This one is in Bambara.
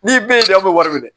N'i be yen dɛ an be wari minɛ dɛ